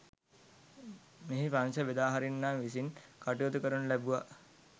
මෙහි ප්‍රංශ බෙදාහරින්නා විසින් කටයුතු කරනු ලැබුවා.